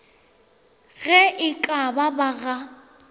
ge e ka ba ga